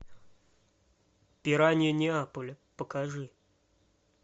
пираньи неаполя покажи